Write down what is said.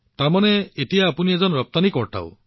গতিকে এতিয়া আপুনি এজন ৰপ্তানিকৰ্তা